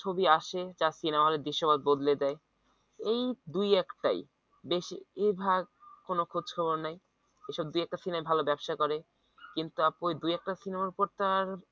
ছবি আসে যা সিনেমাহলের দৃশ্য বদলে দেয় এই দুই এক টাই বেশিরভাগ কোন খোঁজখবর নেই এসব দুই একটা সিনেমা ভাল ব্যবসা করে কিন্তু আপু দুই একটা সিনেমার পর তো আর